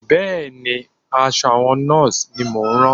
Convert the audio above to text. Bẹ́ẹ̀ ni, aṣọ àwọn Nọ́ọ̀sì ni mọ̀ ń rán